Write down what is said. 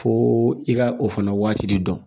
Fo i ka o fana waati de dɔn